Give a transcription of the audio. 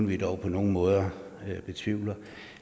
vi dog på nogen måde betvivler